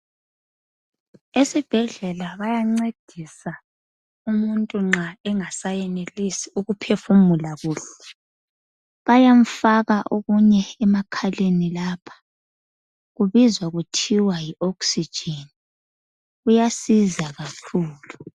Esibhedlela bayancedisa umuntu nxa engasayenelisi ukuphefumula kuhle. Bayamfaka okunye emakhaleni lapha. Kubizwa kuthiwa yi oxygen, kuyasiza kakhulu.